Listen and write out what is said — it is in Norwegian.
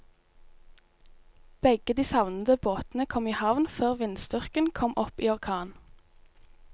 Begge de savnede båtene kom i havn før vindstyrken kom opp i orkan.